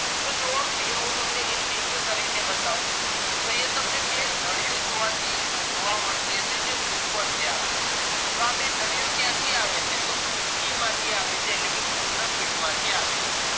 અહિયાં હું તમને link કરીને બતાવું તો અહિયાં તમને બે નળીઓ જોવા મળતી હશે જે ઉપર થી આવે છે તો આ બે નળીઓ ક્યાંથી આવે છે તો kidney માંથી આવે છે એટલે કે મુત્રપીંડ માંથી આવે છે